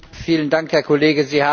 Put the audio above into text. Vielen Dank, Herr Kollege!